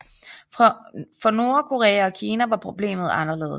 For Nordkorea og Kina var problemet anderledes